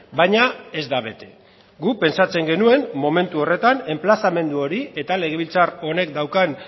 baina ez da bete guk pentsatzen genuen momentu horretan enplazamendu hori eta legebiltzar honek daukan